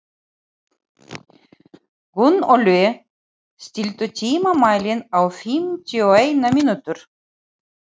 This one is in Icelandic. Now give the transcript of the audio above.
Gunnóli, stilltu tímamælinn á fimmtíu og eina mínútur.